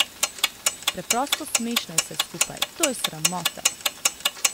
Preprosto smešno je vse skupaj, to je sramota!